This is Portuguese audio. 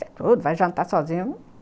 Sai tudo, vai jantar sozinha.